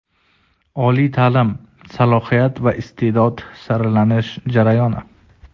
Oliy taʼlim: salohiyat va isteʼdod saralanish jarayoni.